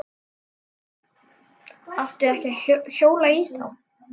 Átti ekki að hjóla í þá.